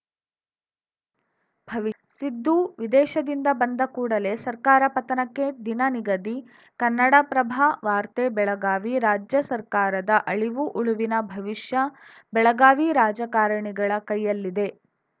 ಭವಿ ಸಿದ್ದು ವಿದೇಶದಿಂದ ಬಂದ ಕೂಡಲೇ ಸರ್ಕಾರ ಪತನಕ್ಕೆ ದಿನ ನಿಗದಿ ಕನ್ನಡಪ್ರಭ ವಾರ್ತೆ ಬೆಳಗಾವಿ ರಾಜ್ಯ ಸರ್ಕಾರದ ಅಳಿವು ಉಳುವಿನ ಭವಿಷ್ಯ ಬೆಳಗಾವಿ ರಾಜಕಾರಣಿಗಳ ಕೈಯಲ್ಲಿದೆ